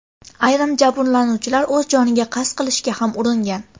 Ayrim jabrlanuvchilar o‘z joniga qasd qilishga ham uringan.